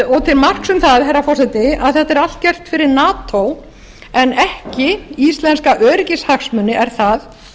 og til marks um það herra forseti að þetta er allt gert fyrir nato en ekki íslenska öryggishagsmuni er það